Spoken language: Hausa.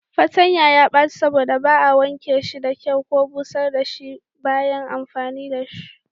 Fatanya ya baci saboda ba a wanke shi da kyau ko busar da shi bayan amfani da shi ba.